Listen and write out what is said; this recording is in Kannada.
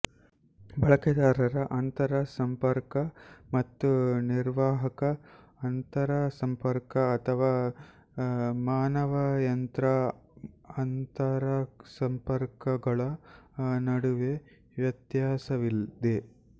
ಬಳಕೆದಾರರ ಅಂತರಸಂಪರ್ಕ ಮತ್ತು ನಿರ್ವಾಹಕ ಅಂತರಸಂಪರ್ಕ ಅಥವಾ ಮಾನವಯಂತ್ರ ಅಂತರಸಂಪರ್ಕಗಳ ನಡುವೆ ವ್ಯತ್ಯಾಸವಿದೆ